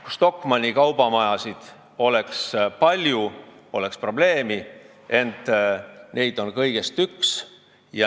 Kui Stockmanni kaubamajasid oleks palju, poleks probleemi, ent neid on kõigest üks.